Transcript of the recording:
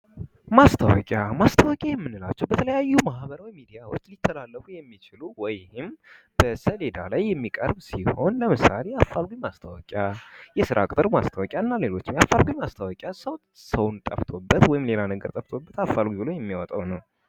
ማስታወቂያ ማስታወቂያ የምንላቸው በተለያዩ የማህበራዊ ሚዲያዎች ተላለፉ የሚችሉ ወይም በሰሌዳ የሚቀርብ ሲሆን ለምሳሌ አፋልጉኝ ማስታወቂያ የስራ ቅጥር ማስታወቂያና ሌሎችም የአፋልጉኝ ማስታወቂያ ሰውን ሰው ጠፍቶበት ወይም ሌላ ነገር ጠፍቶበት አፋልጉኝ ብሎ የሚያወጣው ነው ::